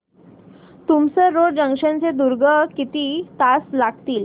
Tumsar road junction ते दुर्ग किती तास लागतील